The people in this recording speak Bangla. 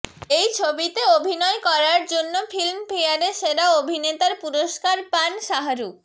এই ছবিতে অভিনয় করার জন্য ফিল্মফেয়ারে সেরা অভিনেতার পুরস্কার পান শাহরুখ